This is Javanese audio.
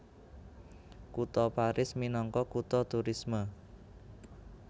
Kutha Paris minangka kutha turisme